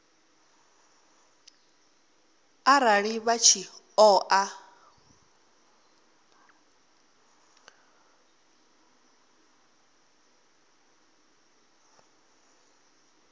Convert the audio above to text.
arali vha tshi ṱo ḓa